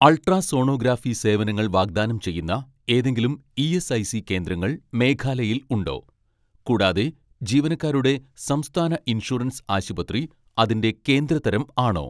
ultrasonography സേവനങ്ങൾ വാഗ്ദാനം ചെയ്യുന്ന ഏതെങ്കിലും ഇ.എസ്.ഐ.സി കേന്ദ്രങ്ങൾ മേഘാലയയിൽ ഉണ്ടോ, കൂടാതെ ജീവനക്കാരുടെ സംസ്ഥാന ഇൻഷുറൻസ് ആശുപത്രി അതിന്റെ കേന്ദ്ര തരം ആണോ